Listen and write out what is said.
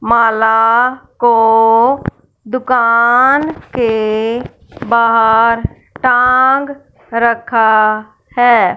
माला को दुकान के बाहर टांग रखा है।